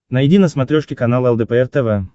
найди на смотрешке канал лдпр тв